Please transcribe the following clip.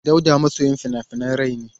Dauda masoyin fina-finan rai ne.